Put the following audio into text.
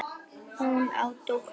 Hún á dóttur.